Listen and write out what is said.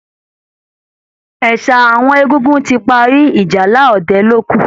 Ẹ̀sà àwọn egungun ti parí, ìjálá ọdẹ ló kù